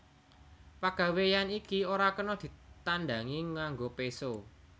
Pagawéyan iki ora kena ditandangi nganggo péso